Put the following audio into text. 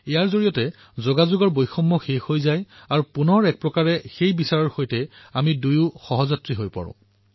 সেইবাবে যোগাযোগৰ ব্যৱধান নোহোৱা হৈ পৰে আৰু সেই চিন্তাধাৰাৰ সৈতে আমি দুয়ো সহযাত্ৰী হৈ পৰোঁ